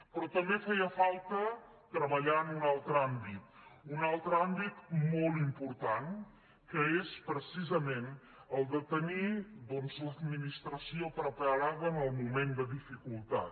però també feia falta treballar en un altre àmbit un altre àmbit molt important que és precisament el de tenir l’administració preparada en el moment de dificultat